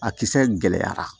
A kisɛ gɛlɛyara